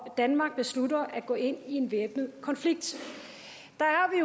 danmark beslutter at gå ind i en væbnet konflikt